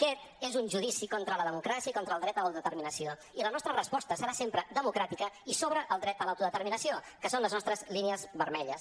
aquest és un judici contra la democràcia i contra el dret a l’autodeterminació i la nostra resposta serà sempre democràtica i sobre el dret a l’autodeterminació que són les nostres línies vermelles